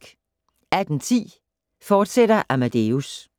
18:10: Amadeus, fortsat